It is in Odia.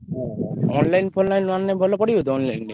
ହଁ ହଁ online ଫନଲାଇନ୍ ରୁ ଆଣିଲେ ଭଲ ପଡିବ ତ online ରେ।